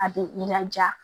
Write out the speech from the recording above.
A bɛ i laja